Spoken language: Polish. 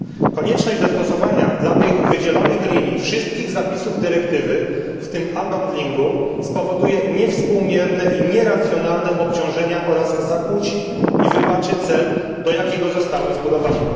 Konieczność zastosowania dla tych wydzielonych linii wszystkich zapisów dyrektywy, w tym unbundlingu spowoduje niewspółmierne i nieracjonalne obciążenia oraz zakłóci i wypaczy cel, do jakiego zostały zbudowane.